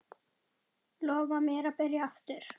Lofaðu mér að byrja aftur!